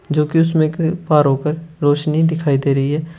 जो की उसमें एक पार होकर रोशनी दिखाई दे रही है।